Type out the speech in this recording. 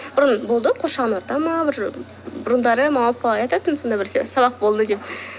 бұрын болды қоршаған орта ма бір бұрындары мама папалар айтатын сондай бір сабақ болды деп